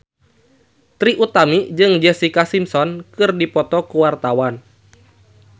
Trie Utami jeung Jessica Simpson keur dipoto ku wartawan